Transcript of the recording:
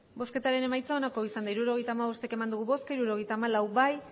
hirurogeita hamabost eman dugu bozka hirurogeita hamalau bai